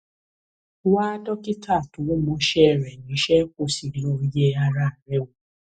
wá dókítà tó mọṣẹ rẹ níṣẹ kó o sì lọ yẹ ara rẹ wò